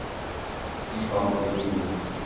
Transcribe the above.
Ivan Brodin